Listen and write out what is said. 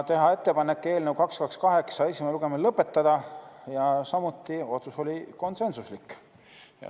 Teha ettepanek eelnõu 228 esimene lugemine lõpetada, samuti oli otsus konsensuslik.